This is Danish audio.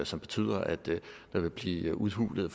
som betyder at der vil blive udhulet